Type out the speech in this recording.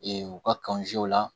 u ka kanjaw la